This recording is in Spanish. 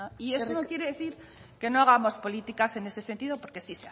y eso no quiere decir que no hagamos políticas en ese sentido porque sí